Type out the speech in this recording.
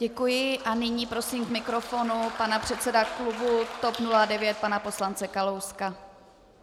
Děkuji a nyní prosím k mikrofonu pana předsedu klubu TOP 09 pana poslance Kalouska.